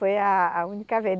Foi a, a única vez.